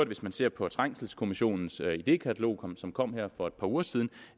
hvis man ser på trængselskommissionens idékatalog som kom her for et par uger siden